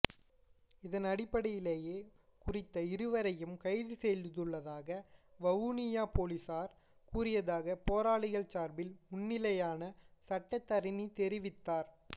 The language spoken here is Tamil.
இதன் அடிப்படையிலேயே குறித்த இருவரையும் கைது செய்துள்ளதாக வவுனியா பொலிஸார் கூறியதாக போராளிகள் சார்பில் முன்னிலையான சட்டத்தரணி தெரிவித்தார்